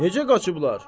Necə qaçıblar?